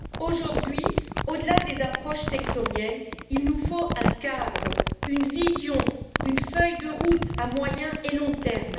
Aujourd'hui, au delà des approches sectorielles, il nous faut un cadre, une vision, une feuille de route à moyen et long terme.